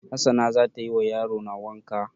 Hassana za tayi wa yarona wanka